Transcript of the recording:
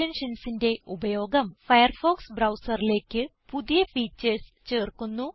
Extensionsന്റെ ഉപയോഗം ഫയർഫോക്സ് ബ്രൌസറിലേക്ക് പുതിയ ഫീച്ചർസ് ചേർക്കുന്നു